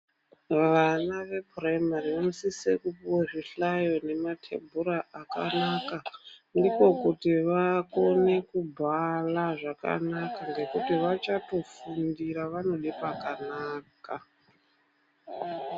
Vana vechikora chepashi vanosise kupuwe zvihlayo nematebhura akanaka ndiko kuti vakone kubhala zvakanaka ngekuti vachatofundira vanode pakanaka.